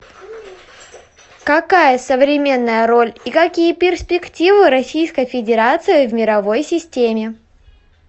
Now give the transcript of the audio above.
какая современная роль и какие перспективы российской федерации в мировой системе